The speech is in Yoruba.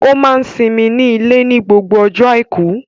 Ó máa n simi sí ilé ní gbogbo ọjọ́ àìkú